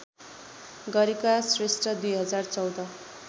गरेका श्रेष्ठ २०१४